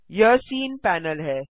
यह scene panel है